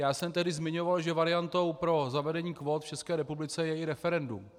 Já jsem tehdy zmiňoval, že variantou pro zavedení kvót v České republice je i referendum.